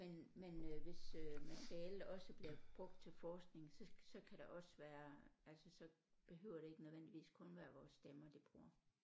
Men men øh hvis øh materialet også bliver brugt til forskning så så kan der også være altså så behøver det ikke nødvendigvis kun være vores stemmer de bruger